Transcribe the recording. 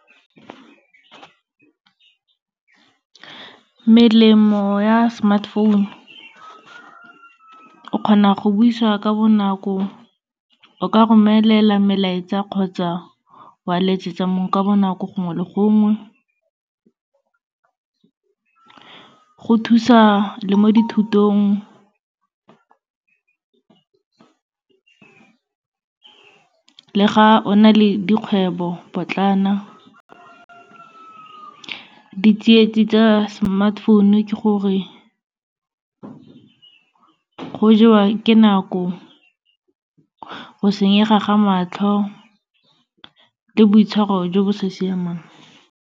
Melemo ya smartphone-u, o kgona go buisa ka bonako, o ka romelela melaetsa kgotsa wa letsetsa mongwe ka bonako gongwe le gongwe, go thusa le mo dithutong, le ga o na le dikgwebopotlana. Di tsietsing tsa smartphone-u ke gore, go jewa ke nako, go senyega ga matlho le boitshwaro jo bo sa siamang.